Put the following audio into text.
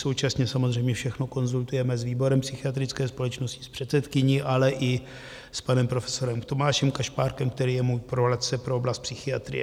Současně samozřejmě všechno konzultujeme s výborem psychiatrické společnosti, s předsedkyní, ale i s panem profesorem Tomášem Kašpárkem, který je můj poradce pro oblast psychiatrie.